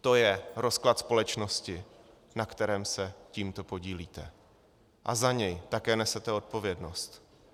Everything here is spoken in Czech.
To je rozklad společnosti, na kterém se tímto podílíte, a za něj také nesete odpovědnost.